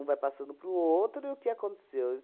vai passando para o outro e o que aconteceu?